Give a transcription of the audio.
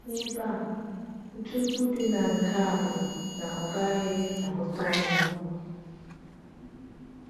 N’ebe a, ntụpọ dị na nke a bụ na ọ gaghị agụta ọnụ.